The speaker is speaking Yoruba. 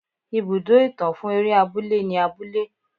Ibùdó ìtàn fún eré abúlé ni abúlé.